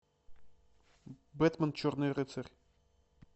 бэтмен черный рыцарь